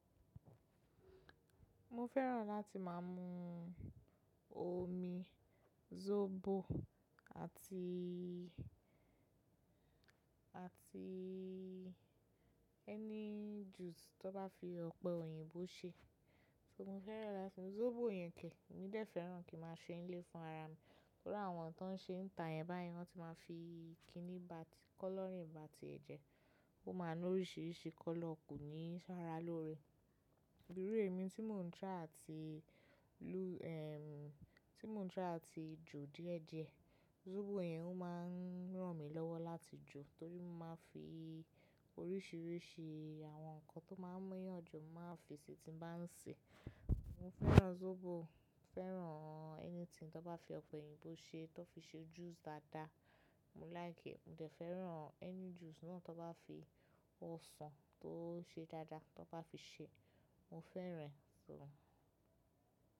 Mo fẹ́ràn láti má a mu omi zobo àti, àti ẹni juice tan bá fi ọ̀pẹ̀ òyìnbó ṣe. So mo fẹ́ràn láti mu zobo yẹn ke, emi dé fẹ́ràn kí n máa ṣe n lé fúnrara mi. To ri àwọn tan ń ṣe n táyen báyen, wọ́n ti má a fi kinni ba ti, colouring ba tie ẹ̀jẹ̀. Ó má a ní oríṣìíríṣìí colour ko ní fun ara lóore. Irú èmi tí mò ń try àti lu ehm, tí mò ń try àti jò díẹ̀ diẹ. Zobo yẹn ó má ń ràn mí lọ́wọ́ láti jò torí mo má a fi oríṣìíríṣìí àwọn nǹkan tó má ń múyàn jò, mo má a fi sí tí n bá ń sè. Mo fẹ́ràn zobo, mo fẹ́ràn anything tó bá fi ọ̀pẹ̀ òyìnbó ṣe, tan fi ṣe juice dáadáa. Mo like, mo dé fẹ́ràn ẹni juice náà tán ba fi ọsàn tó ṣe dáadáa tan bá fi ṣe, mo fẹ́ràn e. So.